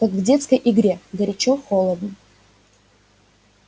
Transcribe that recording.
как в детской игре горячо-холодно